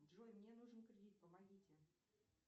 джой мне нужен кредит помогите